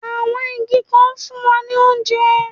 Àwọn igi kan ń fún wa ní oúnjẹ